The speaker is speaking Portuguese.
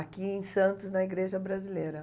Aqui em Santos, na igreja brasileira.